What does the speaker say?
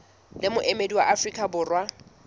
le moemedi wa afrika borwa